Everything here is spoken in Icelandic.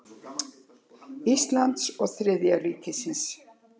Íslands og Þriðja ríkisins.